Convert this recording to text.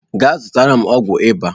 Gaa zụtara m ọgwụ ịba.